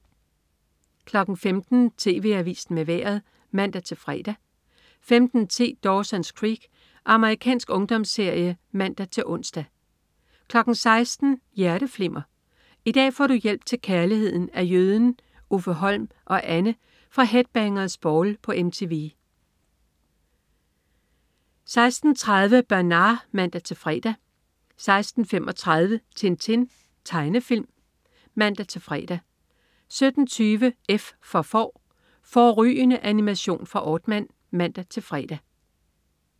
15.00 TV Avisen med Vejret (man-fre) 15.10 Dawson's Creek. Amerikansk ungdomsserie (man-ons) 16.00 Hjerteflimmer. I dag får du hjælp til kærligheden af Jøden, Uffe Holm og Anne fra Headbangers Ball på MTV 16.30 Bernard (man-fre) 16.35 Tintin. Tegnefilm (man-fre) 17.20 F for Får. Fårrygende animation fra Aardman (man-fre)